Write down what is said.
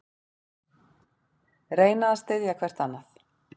Reyna að styðja hvert annað